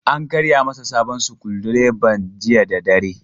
An karya masa sabon sukudireban jiya da dare.